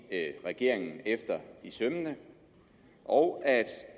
regeringen efter i sømmene og at